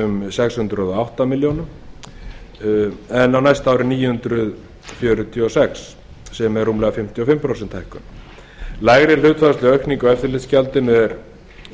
um sex hundruð og átta milljónir en á næsta ári níu hundruð fjörutíu og sex sem er rúmlega fimmtíu og fimm prósenta hækkun lægri hlutfallsleg aukning á eftirlitsgjaldinu á